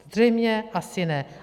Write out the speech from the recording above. Zřejmě asi ne.